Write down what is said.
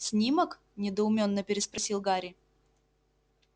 снимок недоуменно переспросил гарри